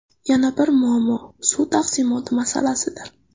Yana bir muammo suv taqsimoti masalasidir.